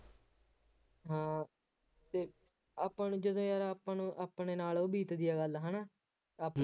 ਹਾਂ ਅਤੇ ਆਪਾਂ ਨੂੰ ਜਦੋਂ ਯਾਰ ਆਪਾਂ ਨੂੰ ਆਪਣੇ ਨਾਲ ਉਹ ਬੀਤਦੀ ਆ ਗੱਲ ਹੈ ਨਾ ਆਪਾਂ